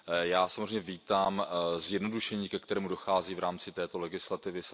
Já samozřejmě vítám zjednodušení, ke kterému dochází v rámci této legislativy.